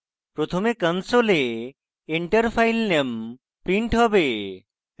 প্রথমে console enter filename printed হবে